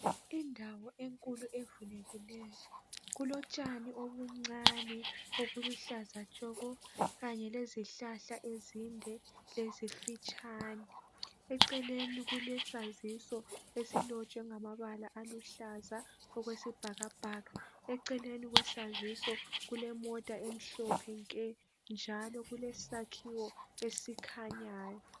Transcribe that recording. Indawo enkulu evulekilyo kulotshani obuncane obuluhlaza tshoko, kanye lezihlahla ezinde lezimfitshane. Eceleni kulesaziso esilotshwe ngamabala aluhlaza okwesibhakabhaka. Eceleni kwesaziso kulemota emhlophe nke njalo kulesakhiwo ezikhanyayo.